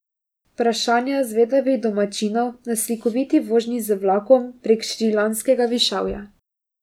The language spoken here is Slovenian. Vprašanja zvedavih domačinov na slikoviti vožnji z vlakom prek šrilanškega višavja.